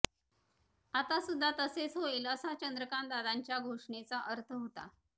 आतासुद्धा तसेच होईल असा चंद्रकांतदादांच्या घोषणेचा अर्थ होता